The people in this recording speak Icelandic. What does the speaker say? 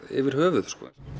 yfir höfuð